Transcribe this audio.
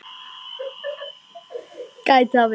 Gæti það verið?